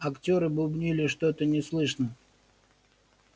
актёры бубнили что-то неслышно